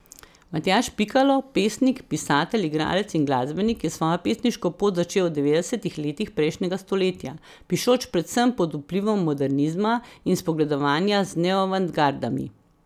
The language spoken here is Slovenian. Matjaž Pikalo, pesnik, pisatelj, igralec in glasbenik je svojo pesniško pot začel v devetdesetih letih prejšnjega stoletja, pišoč predvsem pod vplivom modernizma in spogledovanja z neoavantgardami.